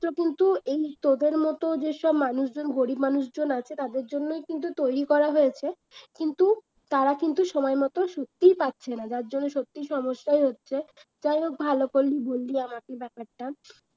এটা কিন্তু এই তোদের মত যেসব মানুষজন গরিব মানুষজন আছে তাদের জন্যই কিন্তু তৈরি করা হয়েছে কিন্তু তারা কিন্তু সময় মতন সত্যিই পাচ্ছে না যার জন্য সত্যিই সমস্যা হচ্ছে যাইহোক ভালো করলি বললি আমাকে ব্যাপারটা